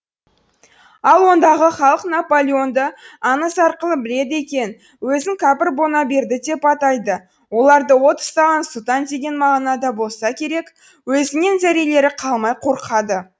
ал ондағы халық наполеонды аңыз арқылы біледі екен өзін кәпір бонаберді деп атайды оларды от ұстаған сұлтан деген мағынада болса керек өзінен зәрелері қалмай қорқады